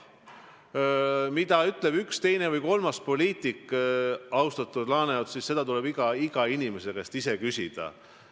Aga mida ütleb üks, teine või kolmas poliitik, seda, austatud Ants Laaneots, tuleb iga inimese enda käest küsida.